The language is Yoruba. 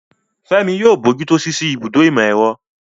Fẹ́mi yóò bójú tó ṣíṣí ibùdó ìmọ̀-ẹ̀rọ.